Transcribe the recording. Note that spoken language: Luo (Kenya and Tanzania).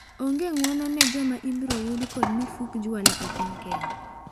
Onge ng'uono ne joma ibiro yud kod mifuk jwala epiny Kenya.